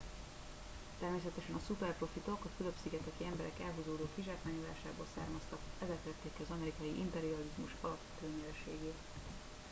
természetesen a szuperprofitok a fülöp szigeteki emberek elhúzódó kizsákmányolásából származtak ezek tették ki az amerikai imperializmus alapvető nyereségét